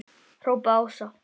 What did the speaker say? hrópaði Ása.